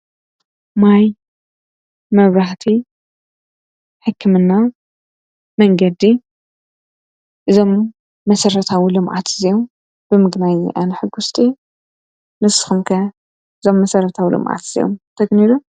ማይ፣ መብራህቲ፣ ሕክምና፣ መንገዲ እዞም መሰረታዊ ልምዓት እዚኦም ብምግናየይ ኣነ ሕጉስቲ እየ፡፡ ንስኹም ከ እዞም መሠረታዊ ልምዓት እዚኦም ተግንዩ ዶ?